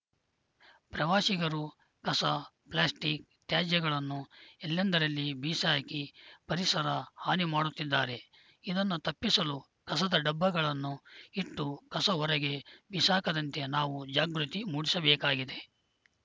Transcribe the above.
ಪ್ರವಾಸಿಗರು ಕಸ ಪ್ಲಾಸ್ಟಿಕ್‌ ತ್ಯಾಜ್ಯಗಳನ್ನು ಎಲ್ಲೆಂದರಲ್ಲಿ ಬೀಸಾಕಿ ಪರಿಸರ ಹಾನಿ ಮಾಡುತ್ತಿದ್ದಾರೆ ಇದನ್ನು ತಪ್ಪಿಸಲು ಕಸದ ಡಬ್ಬಗಳನ್ನು ಇಟ್ಟು ಕಸ ಹೊರಗೆ ಬಿಸಾಕದಂತೆ ನಾವು ಜಾಗೃತಿ ಮೂಡಿಸಬೇಕಾಗಿದೆ